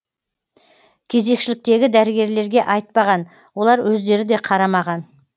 кезекшіліктегі дәрігерлерге айтпаған олар өздері де қарамаған